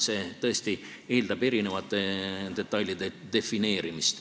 See tõesti eeldab eri detailide defineerimist.